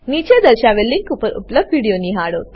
નીચે દર્શાવેલ લીંક પર ઉપલબ્ધ વિડીયો નિહાળો